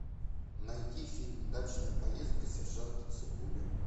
найти фильм дачная поездка сержанта цыбули